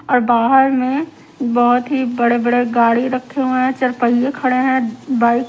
और बाहर में बहुत ही बड़े बड़े गाड़ी रखे हुए हैं चरपहिये खड़े हैं बाइक --